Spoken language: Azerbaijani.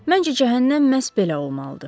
Məncə cəhənnəm məhz belə olmalıdı.